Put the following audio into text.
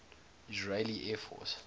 israeli air force